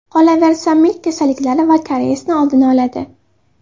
Qolaversa, milk kasalliklari va kariyesni oldini oladi.